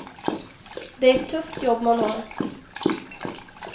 Det är ett tufft jobb man har.